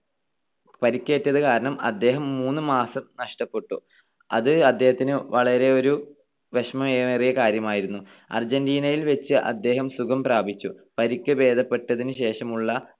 പരിക്കേറ്റതുകാരണം അദ്ദേഹം മൂന്ന് മാസം നഷ്ടപ്പെട്ടു. അത് അദ്ദേഹത്തിന് വളരെയേറെ വിഷമമേറിയ കാര്യമായിരുന്നു. അർജന്റീനയിൽ വെച്ച് അദ്ദേഹം സുഖം പ്രാപിച്ചു. പരുക്ക് ഭേദപെട്ടതിനുശേഷമുള്ള